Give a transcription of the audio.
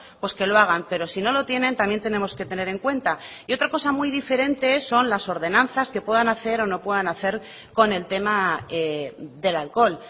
pues que lo hagan pero si no lo tienen también tenemos que tener en cuenta y otra cosa muy diferente son las ordenanzas que puedan hacer o no puedan hacer con el tema del alcohol